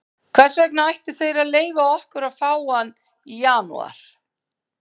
Hvers vegna ættu þeir að leyfa okkur að fá hann í janúar?